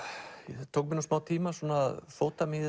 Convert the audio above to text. það tók mig smá tíma að fóta mig í